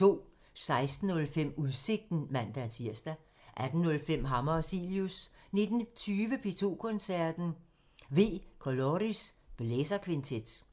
16:05: Udsigten (man-tir) 18:05: Hammer og Cilius 19:20: P2 Koncerten – V Coloris – blæserkvintet